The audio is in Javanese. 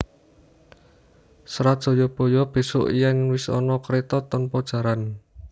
Serat JayabayaBesuk yen wis ana kreta tanpa jaran